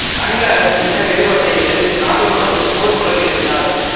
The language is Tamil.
ஆங்கில அரசின் இன வேறுபாட்டை எதிர்த்து நாடு முழுவதும் போர்க் குரல் எழுப்பினார்